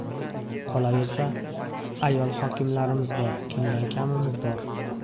Qolaversa, ayol hokimlarimiz bor, kimdan kamimiz bor.